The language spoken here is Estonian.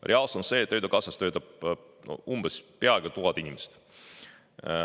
Reaalsus on see, et Töötukassas töötab peaaegu 1000 inimest.